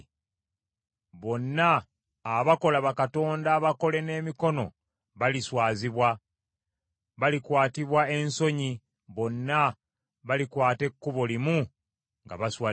Bonna abakola bakatonda abakole n’emikono baliswazibwa, balikwatibwa ensonyi, bonna balikwata ekkubo limu nga baswadde.